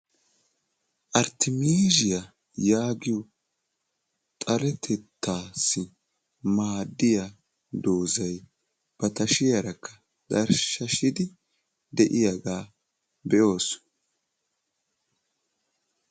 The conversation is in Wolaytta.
arttimisiyaa yaagiyo xaretettaassi maaddiyaa doozay ba tashiyaarakka tarshshashidi de'iyaagaa be'oosona.